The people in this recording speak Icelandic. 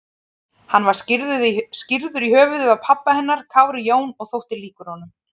Hann var skírður í höfuðið á pabba hennar, Kári Jón, og þótti líkur honum.